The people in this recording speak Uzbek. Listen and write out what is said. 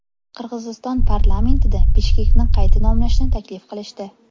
Qirg‘iziston parlamentida Bishkekni qayta nomlashni taklif qilishdi.